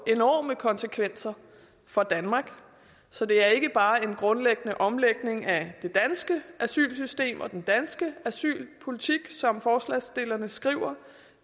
enorme konsekvenser for danmark så det er ikke bare en grundlæggende omlægning af det danske asylsystem og den danske asylpolitik som forslagsstillerne skriver